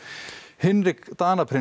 Hinrik